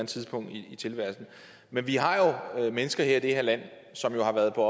tidspunkt i tilværelsen men vi har jo mennesker i det her land som har været på